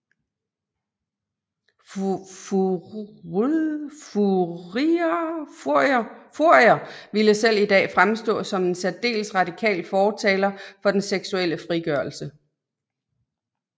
Fourier ville selv i dag fremstå som en særdeles radikal fortaler for den seksuelle frigørelse